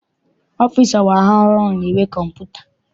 Ọfịịsi ọgbara ọhụrụ na-enwe kọmputa.